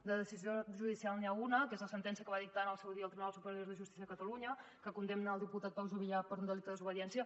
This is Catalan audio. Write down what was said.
de decisió judicial n’hi ha una que és la sentència que va dictar en el seu dia el tribunal superior de justícia de catalunya que condemna el diputat pau juvillà per un delicte desobediència